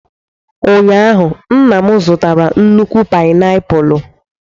Ụnyaahụ, nna m zụtara nnukwu painiapulu.